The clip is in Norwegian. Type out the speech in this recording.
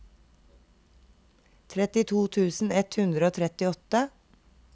trettito tusen ett hundre og trettiåtte